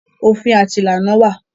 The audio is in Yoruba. Òfin àti ìlànà wà.